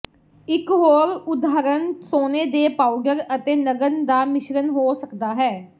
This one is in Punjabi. ਇਕ ਹੋਰ ਉਦਾਹਰਣ ਸੋਨੇ ਦੇ ਪਾਊਡਰ ਅਤੇ ਨਗਨ ਦਾ ਮਿਸ਼ਰਨ ਹੋ ਸਕਦਾ ਹੈ